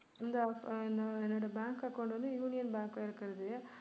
இந்த என்னுடைய bank account வந்து யூனியன் பேங்க்ல இருக்குது